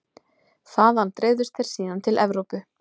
Þaðan dreifðust þeir síðan til Evrópu.